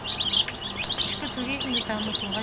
ішкі туризмді дамытуға